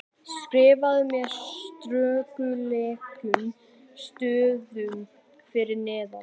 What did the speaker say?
skrifað með stórkarlalegum stöfum fyrir neðan.